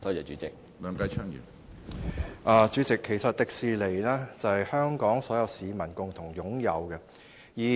主席，迪士尼其實是所有香港市民共同擁有的資產。